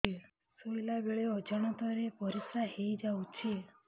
ଶୋଇଲା ବେଳେ ଅଜାଣତ ରେ ପରିସ୍ରା ହେଇଯାଉଛି